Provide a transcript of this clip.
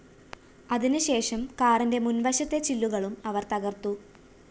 അതിന് ശേഷം കാറിന്റെ മുന്‍വശത്തെ ചില്ലുകളും അവര്‍ തകര്‍ത്തു